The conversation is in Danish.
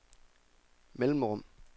mellemrum